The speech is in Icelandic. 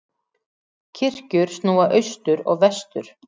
Kirkjur snúa austur og vestur.